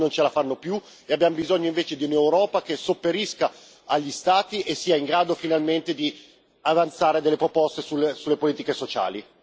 Gli Stati non ce la fanno più e abbiamo bisogno invece di un'Europa che sopperisca agli Stati e sia in grado finalmente di avanzare delle proposte sulle politiche sociali.